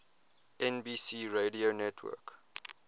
nbc radio network